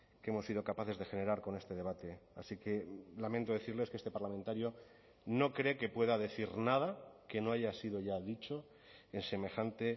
que hemos sido capaces de generar con este debate así que lamento decirles que este parlamentario no cree que pueda decir nada que no haya sido ya dicho en semejante